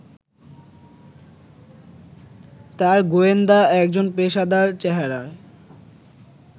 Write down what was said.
তাঁর গোয়েন্দা একজন পেশাদার চেহারায়